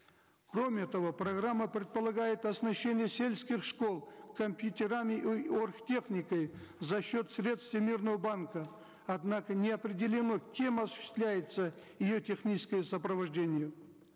кроме того программа предполагает оснащение сельских школ компьютерами оргтехникой за счет средств всемирного банка однако не определено кем осуществляется ее техническое сопровождение